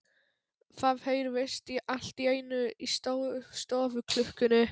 Það heyrðist allt í einu í stofuklukkunni.